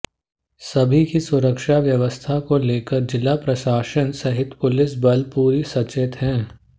सभी की सुरक्षा व्यवस्था को लेकर जिला प्रशासन सहित पुलिस बल पूरे सचेत हैं